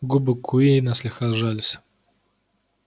губы куинна слегка сжались